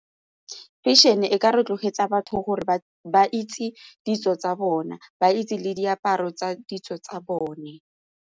Fashion-e e ka rotloetsa batho gore ba itse ditso tsa bona ba itse le diaparo tsa ditso tsa bone.